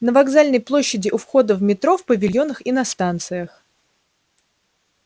на вокзальной площади у входа в метро в павильонах и на станциях